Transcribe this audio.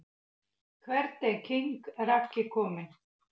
Hvert er king Raggi komin??